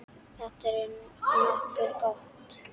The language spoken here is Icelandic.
Þetta er nokkuð gott.